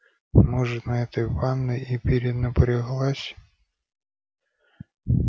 может на этой ванной и перенапряглась